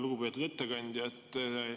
Lugupeetud ettekandja!